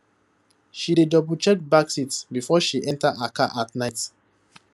she dey doublecheck back seat before she enter her car at night